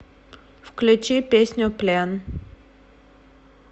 включи песню плен